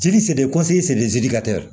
Jiri seli